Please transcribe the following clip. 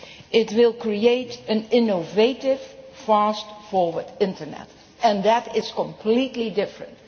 It will create an innovative, fast, forward Internet, and that is completely different.